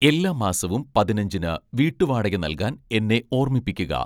എല്ലാ മാസവും പതിനഞ്ചിന് വീട്ടുവാടക നൽകാൻ എന്നെ ഓർമ്മിപ്പിക്കുക.